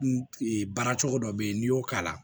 N baara cogo dɔ bɛ yen n'i y'o k'a la